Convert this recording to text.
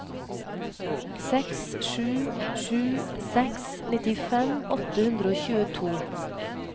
seks sju sju seks nittifem åtte hundre og tjueto